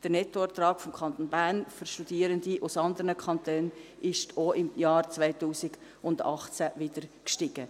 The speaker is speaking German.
Der Nettoertrag des Kantons Bern für Studierende aus anderen Kantonen ist auch im Jahr 2018 wieder gestiegen.